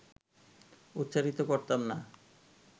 উচ্চারিত করতাম না